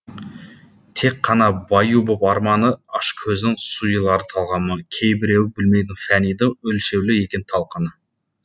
тек қана баю боп арманы ашкөздің сұйылар талғамы кейбіреу білмейді фәнидің өлшеулі екенін талқаны